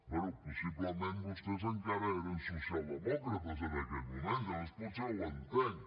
bé possiblement vostès encara eren socialdemòcrates en aquell moment llavors potser ho entenc